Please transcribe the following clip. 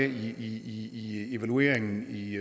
i evalueringen i